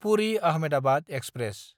Puri-Ahmedabad express